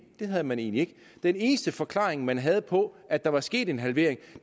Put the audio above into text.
det havde man egentlig ikke den eneste forklaring man havde på at der var sket en halvering